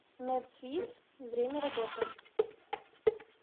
медсвисс время работы